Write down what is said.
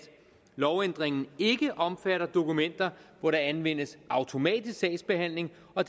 lovændringen ikke omfatter dokumenter hvor der anvendes automatisk sagsbehandling og